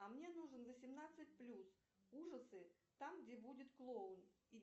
а мне нужен восемнадцать плюс ужасы там где будет клоун и